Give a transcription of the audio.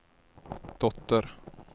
dotter